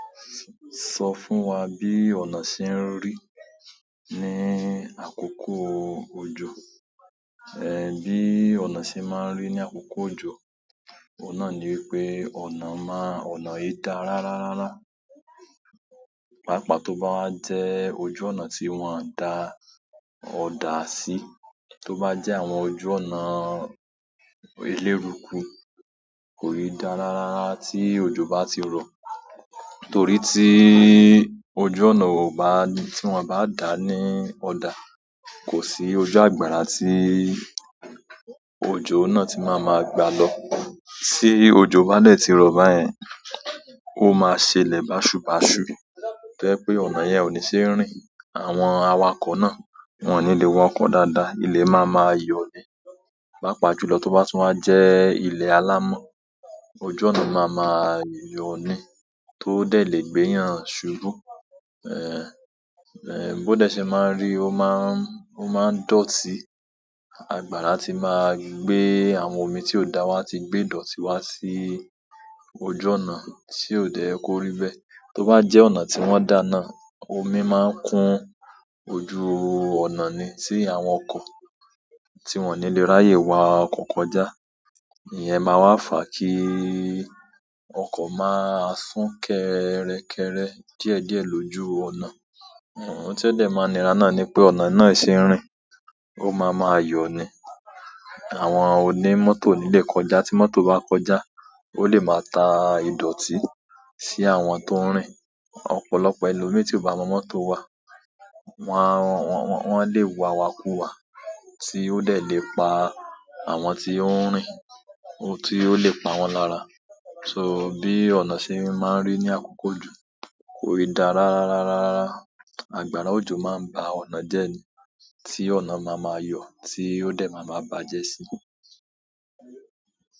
Sọ fún wa bí ọnà ṣe ń rí ní àkókò òjò. Bí ọ̀nà ṣe máa ń rí ní àkókò òjò, ọ̀un nà ni wípé ọ̀nà máa-- ọ̀nà yìí dá ra rárárá. Paapaa to ba wa je ojú ọ̀nà ti won o da oda si, to ba je àwọn ojú ọ̀nà eleruku, ko ni da rararara ti ojo ba ti ro. Torí tí ojú ọ̀nà kò bá-- tí wọ́n o bá dà ní ọ̀dà, kò sí ojú àgbàrá tí òjò náà tí máa ma gba lọ. Tí òjò bá dẹ̀ ti rọ̀ báyẹn, ó máa ṣe ilé báṣubásu. To jẹ́ pé ọ̀nà yẹn ò ní ṣe é rín. Àwọn awakọ̀ náà wọ́n ò ní le wa okọ̀ dáadáa. Ilẹ̀ máa ma yọ̀ ni. Páa pa julọ tó bá tún wá jẹ́ ilẹ̀ alámọ̀, ojú ọ̀nà máa ma yọ̀ ni tó dẹ̀ lè gbéyàn ṣubú. Bó dẹ́ ṣẹ̀ máa ń ri, ó máa ń dọ̀tí. Àgbàrá tí máa gbé àwọn omi tí ó dà, won á ti gbé idọ̀tí wá sí ojú ọ̀nà, tí ò dẹ́ ye kó rí bẹ́. Tó bá jẹ́ ọ̀nà tí wọ́n dà náà, omi máa ń kún ojú ọ̀nà ni, tí àwọn ọkọ̀, tí wọ́n ò ní lè ráyè wa ọ̀kọ̀ ko já. Ìyẹn máa wá fà kí ọkọ̀ máa sún kẹ́rẹ́kẹ́rẹ́ díẹ̀díẹ̀ lójú ọ̀nà. Ọ̀hún tí ó dẹ̀ máa ni rá náà ni wi pé ọ̀nà náà ì ṣe rìn. Ó máa ma yọ̀ni. Àwọn oní mọ́tò ò ní lè kọjá, tí mọ́tò bá n kọjá, ó lè máa tà ìdọ̀tí sí àwọn tó ń rìn. Ọ̀pọ̀lọpọ̀ ẹlomíi tí ò bá mọ mọ́tò wà, wọ́n lè wàwàkú wà tí ó dẹ̀ lè pa àwọn tí ó ń rìn, tí ó lè pa wọ́n lára. So bi ọ̀nà se maa n ri ni akoko ojo, kii da rararara rara. Àgbàrá ojò máa ń ba ọ̀nà jẹ́ ní, tí ọ̀nà máa ma yọ̀, tí ó dẹ̀ máa ma bàjẹ́ sí.